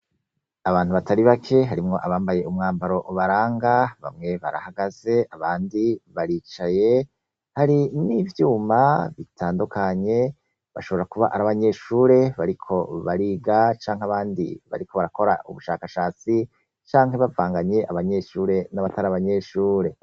Abantu batari bake harimwo abambaye umwambaro ubaranga, bamwe barahagaze ,abandi baricaye. Hari n'ivyuma bitandukanye, bashobora kuba ari abanyeshure bariko bariga canke abandi bariko barakora ubushakashatsi, canke bavanganye abanyeshure n'abatari abanyeshure.